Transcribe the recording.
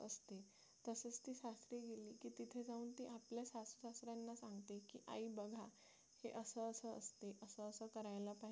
आई बघा हे असं असं असते असं असं करायला पाहिजे की